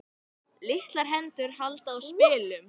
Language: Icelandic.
Litlar hendur halda á spilum.